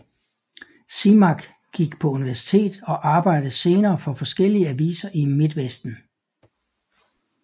Simak gik på universitet og arbejdede senere for forskellige aviser i Midtvesten